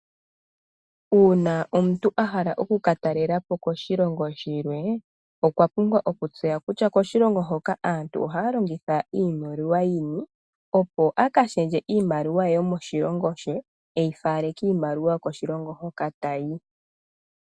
Uuna omuntu a pumbwa oku ka talela po koshilongo shimwe, okwa pumbwa oku tseya kutya aantu ohaya longitha iimaliwa yini opo a ka shendje iimaliwa yomoshilongo she, eyi fale kiimaliwa yokoshilongo hoka ta yi.